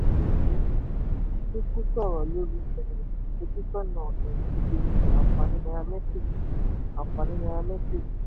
obi chukwu sọ̀rọ̀ lórí um ìfojúsọ́nà um ìpèníjà àǹfààní nairametrics àǹfààní nairametrics.